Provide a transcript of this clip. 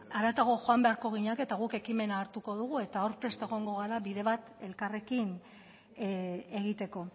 haratago joan beharko ginateke eta guk ekimena hartuko dugu eta hor prest egongo gara bide bat elkarrekin egiteko